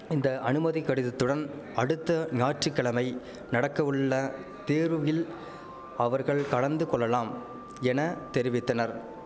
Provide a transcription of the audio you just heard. இந்த அனுமதி கடிதத்துடன் அடுத்த ஞாற்றுக்கிழமை நடக்கவுள்ள தேர்வில் அவர்கள் கலந்து கொள்ளலாம் என தெரிவித்தனர்